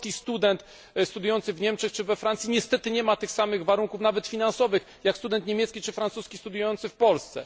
Polski student studiujący w Niemczech czy we Francji niestety nie ma zapewnionych tych samych warunków nawet finansowych jak student niemiecki czy francuski studiujący w Polsce.